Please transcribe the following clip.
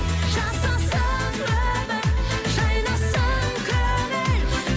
жасасын өмір жайнасын көңіл